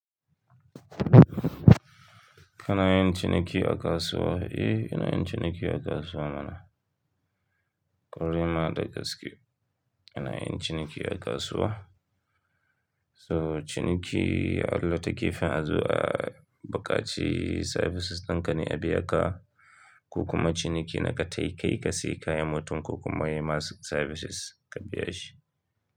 Kana yin ciniki a kasuwa? Eh, ina yin ciniki a kasuwa mana. Kwarai ma da gaske ina yin ciniki a kasuwa. To ciniki a wata gefen azo a buƙaci services dinka ne a biya ka, ko kuma ciniki na ka tafi ka sayi kayan mutumko kuma ya yima services ka biya shi.